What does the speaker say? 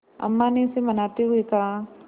अम्मा ने उसे मनाते हुए कहा